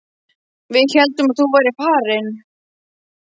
Við héldum að þú værir farinn.